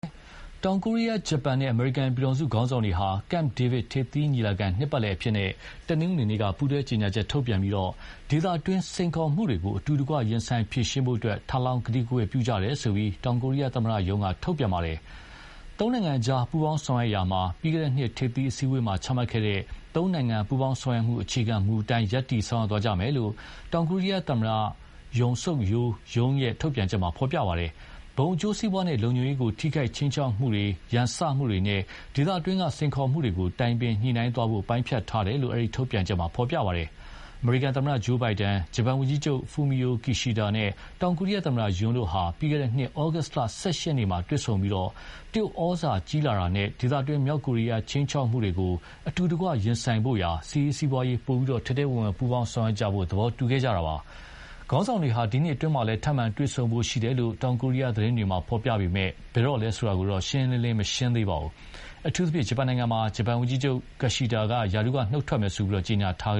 တောင်ကိုရီးယား၊ ဂျပန်နဲ့ အမေရိကန်ပြည်ထောင်စုခေါင်းဆောင်တွေဟာ Camp David ထိပ်သီးညီလာခံနှစ်ပတ်လည်အဖြစ်နဲ့ တနင်္ဂနွေနေ့က ပူးတွဲကြေညာချက်ထုတ်ပြန်ပြီး ဒေသတွင်းစိန်ခေါ်မှုတွေကို အတူတကွရင်ဆိုင်ဖြေရှင်းဖို့ထပ်လောင်း ကတိကဝတ်ပြုကြတယ်လို့ တောင်ကိုရီးယားသမ္မတရုံးက ထုတ်ပြန်ပါတယ်။ သုံးနိုင်ငံကြား ပူးပေါင်းဆောင်ရွက်ရာမှာ ပြီးခဲ့တဲ့နှစ် ထိပ်သီးအစည်းအဝေးမှာ ချမှတ်ခဲ့တဲ့ သုံးနိုင်ငံပူးပေါင်းဆောင်ရွက်မှု အခြေခံမူအတိုင်း ရပ်တည်သွားမယ်လို့ တောင်ကိုရီးယားသမ္မတ Yoon Suk Yeol ရုံး ထုတ်ပြန်ချက်မှာဖော်ပြပါတယ်။ ဘုံအကျိုးစီးပွားနဲ့ လုံခြုံရေးကို ထိခိုက် ခြိမ်းခြောက်မှုတွေ ရန်စမှုနဲ့ ဒေသတွင်း စိန်ခေါ်မှုတွေကိုတိုင်ပင်ညှိနှိုင်းသွားဖို့ ပိုင်းဖြတ်ထားတယ်လို့ အဲဒီထုတ်ပြန်ချက်မှာဖော်ပြပါတယ်။ အမေရိကန်သမ္မတ Joe Biden ၊ ဂျပန်ဝန်ကြီးချုပ် Fumio Kishida နဲ့ တောင်ကိုရီးယားသမ္မတ Yoon တို့ဟာ ပြီးခဲ့တဲ့နှစ်ဩဂုတ်လ ၁၈ ရက် နေ့က တွေ့ဆုံပြီး တရုတ်ဩဇာကြီးလာတာနဲ့ ဒေသတွင်း မြောက်ကိုရီးယားခြိမ်းခြောက်မှုကိုအတူတကွရင်ဆိုင်ဖို့ရာ စစ်ရေး၊ စီးပွားရေး ပိုပြီး ထဲထဲဝင်ဝင် ပူးပေါင်းဆောင်ရွက်ကြဖို့ သဘောတူခဲ့ကြတာပါ။ခေါင်းဆောင်တွေဟာ ဒီနှစ်အတွင်းမှာလည်း ထိပ်မံတွေ့ဆုံဖို့ရှိတယ်လို့ တောင်ကိုရီးယားသတင်းတွေ ဖော်ပြပေမယ့်ဘယ်တော့လဲ ဆိုတာကိုတော့ ရှင်းရှင်းလင်းလင်းမရှိသေးပါဘူး။ အထူးသဖြင့် ဂျပန်နိုင်ငံမှာ ဂျပန်ဝန်ကြီးချုပ် Kishida က ရာထူးက နုတ်ထွက်မယ်ဆိုပြီး ကြေညာထားက